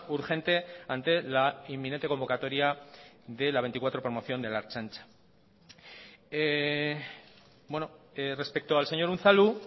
urgente ante la inminente convocatoria de la vigesimocuarta promoción de la ertzaintza bueno respecto al señor unzalu